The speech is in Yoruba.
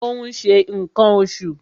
ó n se nkan osù